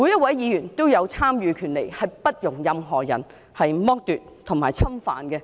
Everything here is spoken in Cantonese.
這個權利不容任何人剝奪及侵犯。